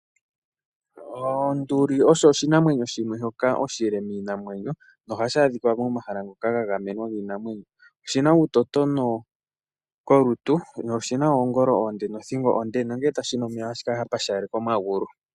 Onduli osho oshinamwenyo shimwe shoka oshile miinamwenyo nohashi adhika momahala ngoka ga gamenwa giinamwenyo. Oshina uutotono kolutu sho oshina oongolo oonde nothingo onde, nongele tashi nu omeya ohashi kala sha pashaneka omagulu.